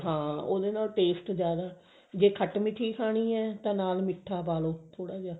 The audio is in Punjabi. ਹਾਂ ਉਹਦੇ ਨਾਲ taste ਜ਼ਿਆਦਾ ਜੇ ਖਟ ਮਿਠੀ ਖਾਣੀ ਹੈ ਤਾਂ ਨਾਲ ਮਿੱਠਾ ਪਾਲੋ ਥੋੜਾ ਜਾ